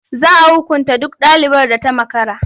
Za a hukunta duk ɗalibar da ta makara.